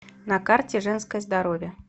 на карте женское здоровье